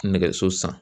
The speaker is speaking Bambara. Nɛgɛso san